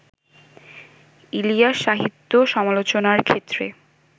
ইলিয়াস-সাহিত্য সমালোচনার ক্ষেত্রে